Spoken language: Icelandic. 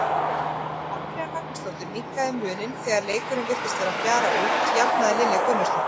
Andrea Magnúsdóttir minnkaði muninn og þegar leikurinn virtist vera að fjara út jafnaði Lilja Gunnarsdóttir.